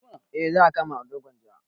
Eh za a kama ado gwanja